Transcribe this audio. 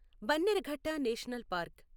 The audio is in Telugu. Bannerghatta national park